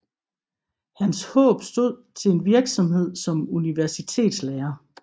Hans håb stod til en virksomhed som universitetslærer